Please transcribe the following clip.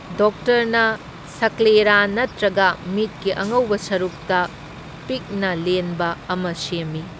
ꯗꯣꯛꯇꯔꯅ ꯁꯀ꯭ꯂꯦꯔꯥ ꯅꯠꯇ꯭ꯔꯒ ꯃꯤꯠꯀꯤ ꯑꯉꯧꯕ ꯁꯔꯨꯛꯇ ꯄꯤꯛꯅ ꯂꯦꯟꯕ ꯑꯃ ꯁꯦꯝꯏ꯫